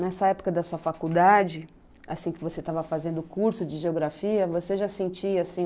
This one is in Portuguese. Nessa época da sua faculdade, assim que você estava fazendo o curso de geografia, você já sentia assim